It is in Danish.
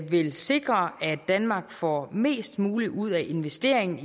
vil sikre at danmark får mest muligt ud af investeringen